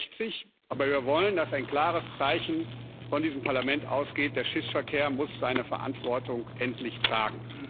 63. Aber wir wollen, dass ein klares Zeichen von diesem Parlament ausgeht Der Schiffsverkehr muss seine Verantwortung endlich tragen.